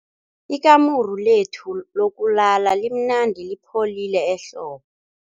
Ikamuru lethu lokulala limnandi lipholile ehlobo.